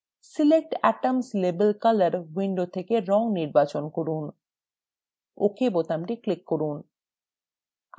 select atoms label color window থেকে রং নির্বাচন করুন ok বোতামটিতে click করুন